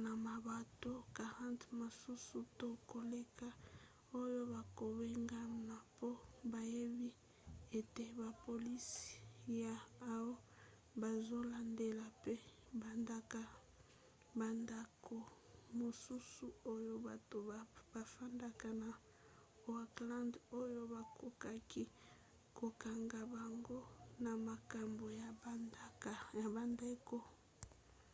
na mabota 40 mosusu to koleka oyo bakobengana mpo bayebi ete bapolisi ya oha bazolandela mpe bandako mosusu oyo bato bafandaka na oakland oyo bakokaki kokanga bango na makambo ya bandako